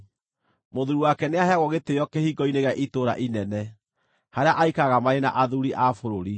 Mũthuuri wake nĩaheagwo gĩtĩĩo kĩhingo-inĩ gĩa itũũra inene, harĩa aikaraga marĩ na athuuri a bũrũri.